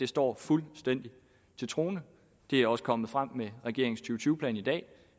står fuldstændig til troende det er også kommet frem med regeringens to tyve plan i dag